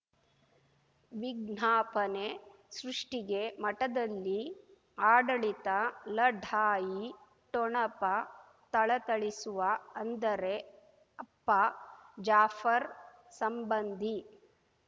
ವಿಜ್ಞಾಪನೆ ಸೃಷ್ಟಿಗೆ ಮಠದಲ್ಲಿ ಆಡಳಿತ ಲಢಾಯಿ ಠೊಣಪ ಥಳಥಳಿಸುವ ಅಂದರೆ ಅಪ್ಪ ಜಾಫರ್ ಸಂಬಂಧಿ